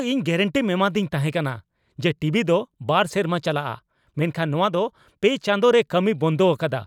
ᱤᱧ ᱜᱮᱨᱮᱱᱴᱤᱢ ᱮᱢᱟᱫᱤᱧ ᱛᱟᱦᱮᱠᱟᱱᱟ ᱡᱮ ᱴᱤᱵᱤ ᱫᱚ ᱒ ᱥᱮᱨᱢᱟ ᱪᱟᱞᱟᱜᱼᱟ ᱢᱮᱱᱠᱷᱟᱱ ᱱᱚᱣᱟ ᱫᱚ ᱓ ᱪᱟᱸᱫᱚ ᱨᱮ ᱠᱟᱹᱢᱤᱭ ᱵᱚᱱᱫᱚ ᱟᱠᱟᱫᱟ !